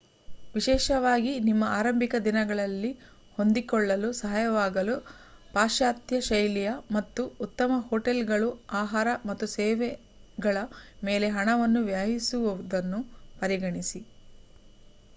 ವಿಶೇಷವಾಗಿ ನಿಮ್ಮ ಆರಂಭಿಕ ದಿನಗಳಲ್ಲಿ ಹೊಂದಿಕೊಳ್ಳಲು ಸಹಾಯವಾಗಲು ಪಾಶ್ಚಾತ್ಯ ಶೈಲಿಯ ಮತ್ತು -ಉತ್ತಮ ಹೋಟೆಲ್‌ಗಳು ಆಹಾರ ಮತ್ತು ಸೇವೆಗಳ ಮೇಲೆ ಹಣವನ್ನು ವ್ಯಯಿಸುವುದನ್ನು ಪರಿಗಣಿಸಿ